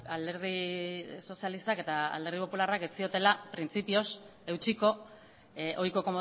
alderdi sozialistak eta alderdi popularrak ez ziotela printzipioz eutsiko ohiko